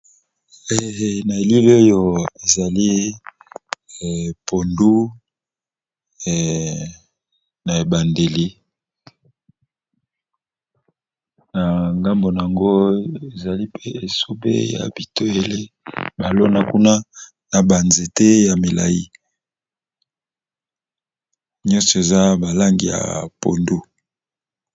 na elele oyo ezali pondu na ebandeli na ngambona ango ezali mpe esobe balona kuna na banzete ya milai nyonso eza balangi ya pondu